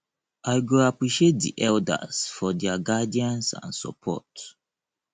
i go appreciate di elders for their guidance and support